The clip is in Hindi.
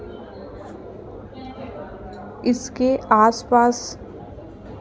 इसके आस पास--